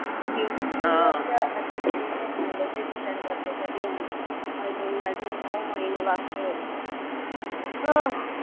तेच विचार करतेय कधी होणार. अजून अजून नऊ महिने बाकीए. अह